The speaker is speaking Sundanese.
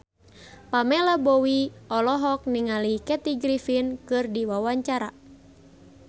Pamela Bowie olohok ningali Kathy Griffin keur diwawancara